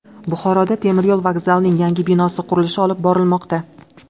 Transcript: Buxoroda temiryo‘l vokzalining yangi binosi qurilishi olib borilmoqda.